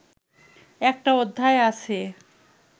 একটা অধ্যায় আছে